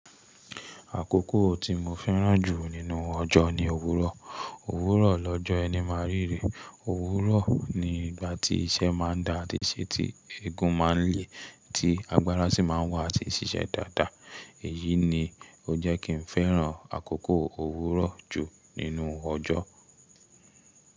Àkókò tí mo fẹ́ràn jù nínú ọjọ́ ni òwúrọ̀. Òwúrọ̀ lọ́jọ́ ẹni máa ríre. Òwúrọ̀ ni ìgbà tí iṣẹ́ máa ń da àti ṣe, tí egun máa ń le, tí agbára sì máa ń wà àti ṣiṣẹ́ dáadáa. Èyí ni ó jẹ́ kí n fẹ́ràn àkókò òwúrọ̀ jù nínú ọjọ́.